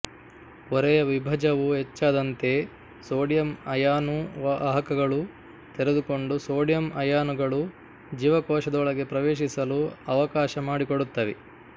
ಪೊರೆಯ ವಿಭವವು ಹೆಚ್ಚಾದಂತೆ ಸೋಡಿಯಂ ಅಯಾನು ವಾಹಕಗಳು ತೆರೆದುಕೊಂಡು ಸೋಡಿಯಂ ಅಯಾನುಗಳು ಜೀವಕೋಶದೊಳಗೆ ಪ್ರವೇಶಿಸಲು ಅವಕಾಶ ಮಾಡಿಕೊಡುತ್ತವೆ